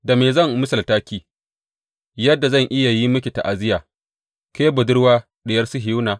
Da me zan misalta ki, yadda zan iya yi miki ta’aziyya, Ke Budurwa Diyar Sihiyona?